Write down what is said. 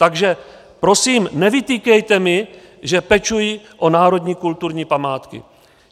Takže prosím, nevytýkejte mi, že pečuji o národní kulturní památky.